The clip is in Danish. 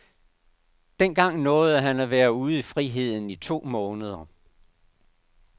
Dengang nåede han at være ude i friheden i to måneder.